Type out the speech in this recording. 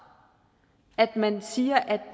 at man siger at